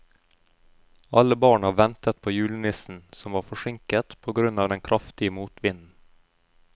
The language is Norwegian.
Alle barna ventet på julenissen, som var forsinket på grunn av den kraftige motvinden.